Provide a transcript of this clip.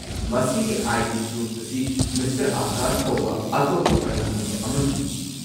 ꯃꯁꯤꯒꯤ ID. Proof ꯑꯁꯤ, mister Akash ꯀꯧꯕ ꯑꯇꯣꯞꯄ ꯀꯅꯥꯒꯨꯝꯕ ꯑꯃꯒꯤꯅꯤ꯫